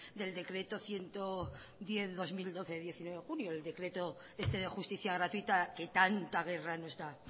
del decreto ciento diez barra dos mil doce de diecinueve de junio sobre justicia gratuita que tanta guerra nos da